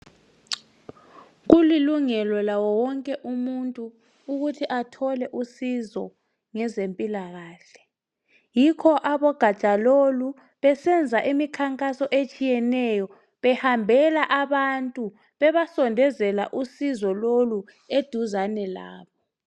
Kulilungelo lawo wonke umuntu ukuthi athole usizo ngezempilakahle, yikho abogatsha lolu besenza imikhankaso etshiyeneyo behambela abantu bebasondezela usizo lolu eduzane labo.